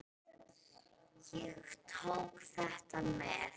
Ég tók þetta með.